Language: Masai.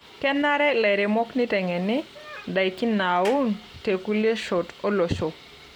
Kenare lairemok neiteng'eni indaiki naaun tekulie shot olosho.